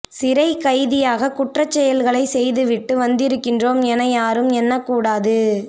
சிறைக்கைதியாக குற்றச் செயல்களை செய்து விட்டு வந்திருக்கின்றோம் என யாரும் எண்ணக்கூடாது